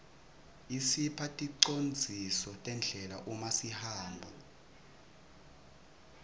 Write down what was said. isipha ticondziso tendlela uma sihamba